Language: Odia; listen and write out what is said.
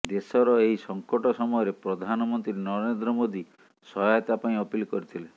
ଦେଶର ଏହି ସଙ୍କଟ ସମୟରେ ପ୍ରଧାନମନ୍ତ୍ରୀ ନରେନ୍ଦ୍ର ମୋଦି ସହାୟତା ପାଇଁ ଅପିଲ କରିଥିଲେ